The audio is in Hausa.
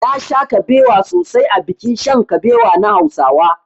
Nasha kabewa sosai a bikin shan kabewa na hausawa.